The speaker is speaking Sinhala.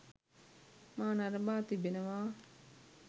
මා නරඹා තිබෙනවා.